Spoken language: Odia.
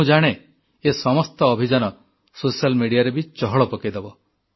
ମୁଁ ଜାଣେ ଏ ସମସ୍ତ ଅଭିଯାନ ସୋସିଆଲ ମିଡିଆରେ ବି ଚହଳ ପକେଇଦେବ